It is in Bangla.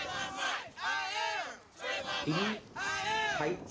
তিনি সাহি